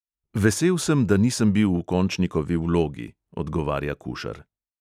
"Vesel sem, da nisem bil v končnikovi vlogi, " odgovarja kušar.